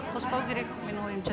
қоспау керек менің ойымша